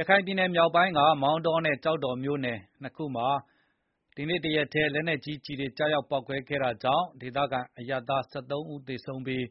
ရခိုင်ပြည်နယ်မြောက်ပိုင်းက မောင်တောနဲ့ ကျောက်တော်မြို့နယ် ၂ ခုမှာ ဒီနေ့ တရက်တည်း လက်နက်ကြီးကျည်တွေ ကျရာက်ပေါက်ကွဲခဲ့တာကြောင့် ဒေသခံ အရပ်သား ၁၃ ဦးသေဆုံးပြီး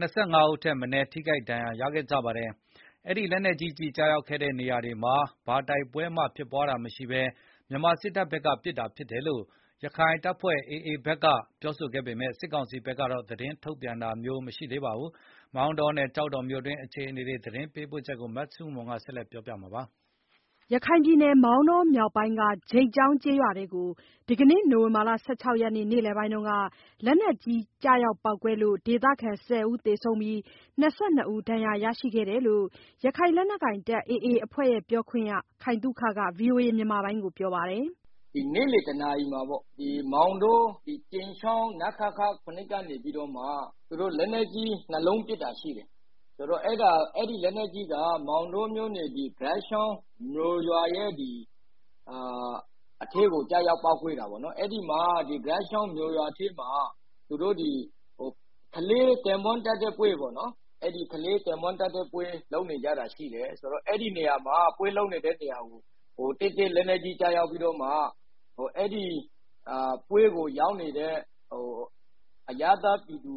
၂၅ ဦးထက်မနည်း ထိခိုက်ဒဏ်ရာ ရခဲ့ကြပါတယ်။ အဲဒီလက်နက်ကြီးကျည်ကျရောက်ခဲ့တဲ့နေရာတွေမှာ ဘာတိုက်ပွဲမှဖြစ်ပွားတာမရှိဘဲ မြန်မာစစ်တပ်ဘက်ကပစ်တာဖြစ်တယ်လို့ ရခိုင်လက်နက်ကိုင် AA ဘက်က ပြောဆိုပေမဲ့ စစ်ကောင်စီဘက်က ငြင်းဆန်ပါတယ်။ မောင်တောနဲ့ ကျောက်တော်မြို့အတွင်း အခြေအနေ သတင်းပေးပို့ချက်ကို မဆုမွန်က တင်ပြပေးထားပါတယ်။ ရခိုင်ပြည်နယ် မောင်တော မြောက်ပိုင်းက ဂြိတ်ချောင်းကျေးရွာအတွင်းကို ဒီကနေ့ နိုဝင်ဘာလ ၁၆ ရက်နေ့ နေလည်ပိုင်းက လက်နက်ကြီး ကျရောက်ပေါက်ကွဲပြီးတော့ ဒေသခံ ၁၀ ဦး သေဆုံးပြီး ၂၂ ဦး ဒဏ်ရာရရှိခဲ့တယ်လို့ ရခိုင် လက်နက်ကိုင် AA အဖွဲ့ပြောခွင့်ရ ခိုင်သုခက ဗွီအိုအေကို ပြောပါတယ်။ “မောင်တော ကြိမ်ချောင်း နခခ ၇ ကနေပြီးတော့ လက်နက်ကြီး ၂ လုံးပစ်တာရှိတယ်။ အဲဒီလက်နက်ကြီးက ဂြိတ်ချောင်းကျေးရွာက ကလေးကင်းပွန်းတပ်တဲ့ပွဲပေါ့နော်။ အဲဒီ ပွဲလုပ်နေတဲ့ နေရာတည့်တည့်ကို လက်နက်ကြီး ကျရောက်ပြီးတော့မှ အဲဒီပွဲကိုရောက်နေတဲ့ အရပ်သားပြည်သူ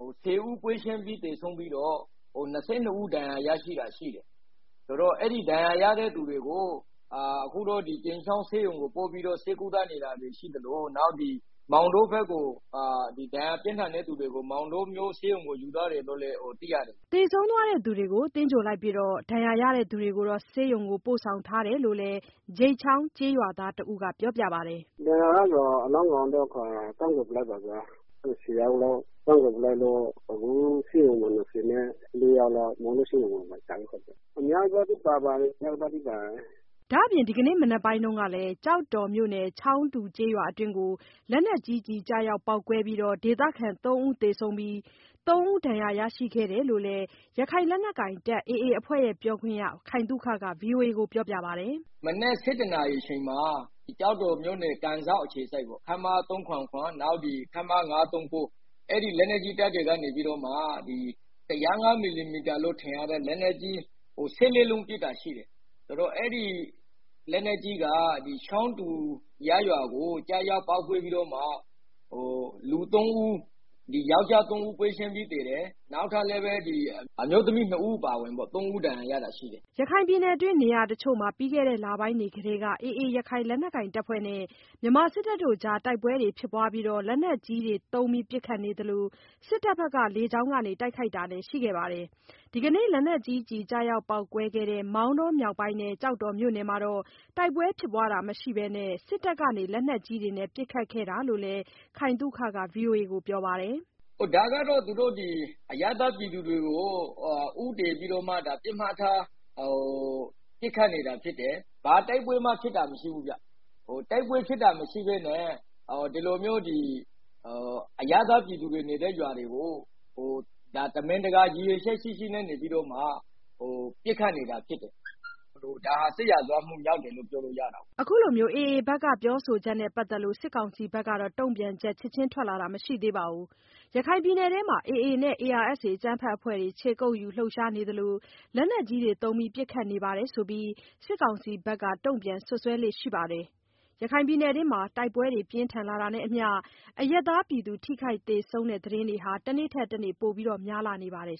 ၁၀ ဦးပွဲချင်းပြီး သေဆုံးပြီးတော့ ၂၂ ဦး ဒဏ်ရာရသွားတာရှိတယ်။ ဒဏ်ရာရတဲ့သူတွေကိုတော့ ကြိမ်းချောင်းဆေးရုံကိုပို့ထားပြီး ဒဏ်ရာပြင်းတဲ့သူတွေကို မောင်တောဆေးရုံကို ယူသွားတယ်လို့ သိရတယ်ဗျာ။” သေဆုံးသွားသူတွေကို သင်္ဂြိုဟ် လိုက်ပြီး ဒဏ်ရာရသူတွေကို ဆေးရုံကို ပို့ဆောင် ထားတယ်လို့လည်း ဂြိတ်ချောင်းကျေးရွာသားတဦးက ပြောပါတယ်။ အလောင်းတွေကိုတော့ သင်္ဂြိုဟ် လိုက်ပါပြီ ၁၀ လောင်းရှိတယ်။ ဒဏ်ရာရတဲ့ သူတွေကိုတော့ ဆေးရုံကို ပို့ထားတယ်။ ဒဏ်ရာပြင်းထန်သူတွေလည်းပါတယ်။” ဒါ့အပြင် ဒီနေ့မနက်ပိုင်းကလည်း ကျောက်တော်မြို့နယ် ချောင်းတူ ကျေးရွာအတွင်းကို လက်နက်ကြီးကျည်ကျရောက်ပေါက်ကွဲပြီးတော့ ဒေသခံ ၃ ဦးသေဆုံးပြီး သုံးဦးဒဏ်ရာ ရရှိခဲ့တယ်လို့လည်း ရခိုင်လက်နက်ကိုင် AA အဖွဲ့ပြောခွင့်ရ ခိုင်သုခက ဗွီအိုအေ ကို ပြောပါတယ်။ “ဒီနေ့မနက် ၁၁ နာရီအချိန်မှာ ကျောက်တော်၊ ကန်စောက်အခြေစိုက် ခမရ ၃၇၇၊ နောက် ခမရ ၅၃၉ အဲဒီလက်နက်ကြီးတပ်တွေက ၁၀၅ မီလီမီတာလို့ထင်ရတဲ့ လက်နက်ကြီး ၁၄ လုံး ပစ်တာရှိတယ်၊ အဲဒီလက်နက်ကြီးက ချောင်းတူ ကျေး ရွာကိုကျပြီးတော့ ယောက်ကျား ၃ ဦး ပွဲချင်းပြီးသေတယ်။ အမျိုးသမီး၂ ဦး အပါအဝင် ၃ ဦးဒဏ်ရာရတာရှိတယ်။” ရခိုင်ပြည်နယ်အတွင်း နေရာတချို့မှာ ပြီးခဲ့တဲ့ လပိုင်းတွေကတည်းက AA ရခိုင် လက်နက်ကိုင် အဖွဲ့နဲ့ မြန်မာစစ်တပ်အကြား တိုက်ပွဲတွေဖြစ်ပွားပြီး လက်နက်ကြီးတွေသုံး ပစ်ခတ်နေသလို စစ်တပ်ဘက်က လေကြောင်းက တိုက်ခိုက်တာတွေလည်း ရှိခဲ့ပါတယ်။ ဒီကနေ့ လက်နက်ကြီးကျည်ကျရောက်ပေါက်ကွဲခဲ့တဲ့ မောင်တောမြောက်ပိုင်းနဲ့ ကျောက်တော်မြို့နယ်မှာတော့ တိုက်ပွဲမရှိဘဲ စစ်တပ်က လက်နက်ကြီးတွေနဲ့ ပစ်ခတ်ခဲ့တာဖြစ်တယ်လို့လည်း ခိုင်သုခက ဗွီအိုအေကိုပြောပါတယ်။ “ ဒီဟာက အရပ်သားပြည်သူတွေကို ဦးတည်ပြီးတော့ တိုက်ခိုက်နေတာ ဖြစ်တယ်။ ဘာတိုက်ပွဲမှ ဖြစ်တာမရှိဘူးဗျ။ တိုက်ပွဲနဲ့မပတ်သက်တဲ့ အရပ်သားပြည်သူတွေနေတဲ့ရွာတွေကို ရည်ရွယ်ချက်ရှိရှိပစ်ခတ်နေတာဖြစ်တဲ့အတွက် ဒါ စစ်ရာဇဝတ်မှုမြောက်တယ်လို့ပြောလို့ရပါတယ်။” AA ဘက်က ပြောဆိုချက်နဲ့ပတ်သက်လို့ စစ်ကောင်စီဘက်က တုံ့ပြန်ချက် ချက်ခြင်း ထွက်လာတာ မရှိသေးပါဘူး။ ရခိုင်ပြည်နယ်အတွင်းမှာ AA နဲ့ ARSA အကြမ်းဖက် အဖွဲ့တွေ ခြေကုတ်ယူလှုပ်ရှားနေသလို လက်နက်ကြီးတွေသုံး ပစ်ခတ်နေတယ် ဆိုပြီး စစ်ကောင်စီဘက်က တုံ့ပြန် စွပ်စွဲလေ့ရှိပါတယ်။ တိုက်ပွဲတွေ ပြင်းထန်လာတာနဲ့အမျှ ရခိုင်ပြည်နယ်အတွင်း အရပ်သား ထိခိုက်သေဆုံးတဲ့ သတင်းတွေ တနေ့ထက်တနေ့ ပိုများလာနေ ပါတယ်